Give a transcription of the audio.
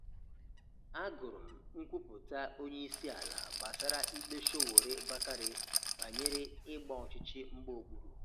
A gụrụ m nkwupụta onye ịsi ala gbasara ikpe Sowore-Bakare banyere ịgba ọchichi mgba okpuru